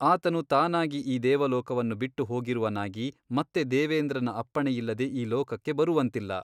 ಆತನು ತಾನಾಗಿ ಈ ದೇವಲೋಕವನ್ನು ಬಿಟ್ಟು ಹೋಗಿರುವನಾಗಿ ಮತ್ತೆ ದೇವೇಂದ್ರನ ಅಪ್ಪಣೆಯಿಲ್ಲದೆ ಈ ಲೋಕಕ್ಕೆ ಬರುವಂತಿಲ್ಲ.